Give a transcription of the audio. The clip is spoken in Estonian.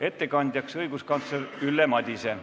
Ettekandja on õiguskantsler Ülle Madise.